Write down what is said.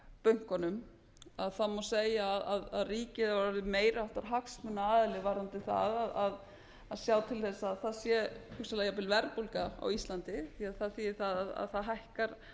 bönkunum má segja að ríkið hafi orðið meiri háttar hagsmunaaðili varðandi það að sjá til þess að það sé hugsanlega jafnvel verðbólga á íslandi því að það þýðir það að það hækkar